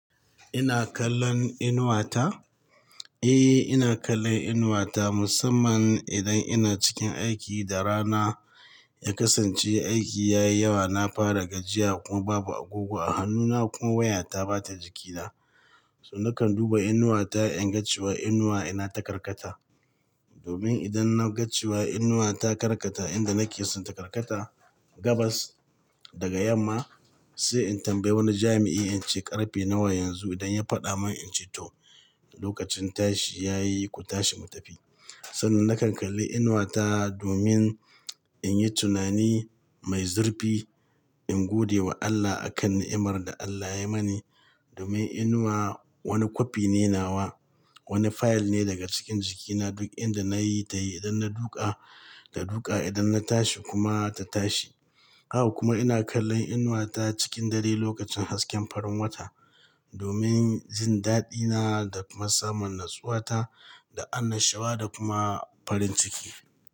Ina kallon inuwa ta? Eh, ina kallon inuwa ta musamman idan ina cikin aiki da rana ya kasance aiki yayi yawa, na fara gajiya kuma babu agogo a hannuna kuma waya ta bata jikina. To nakan duba inuwa ta inga cewa inuwa ina ta karkata. Domin idan naga cewa inuwa ta karkata inda nakeso, ta karkata gabas daga yamma sai in tambayi wani jami'i in ce ƙarfe nawa yanzu idan ya faɗa min in ce to, lokacin tashi yayi ku tashi mu tafi. Sannan nakan kalli inuwa ta domin in yi tunani mai zurfi in godewa Allah akan ni'imar da Allah ya yi mani. Domin inuwa wani kwafi ne nawa, wani fayil ne daga cikin jikina duk inda nayi ta yi idan na duka ta duka, idan na tashi kuma ta tashi. Haka kuma ina kallon inuwa ta cikin dare lokacin hasken farin wata domin jin daɗina da kuma samun natsuwata da annashuwa da kuma farin ciki.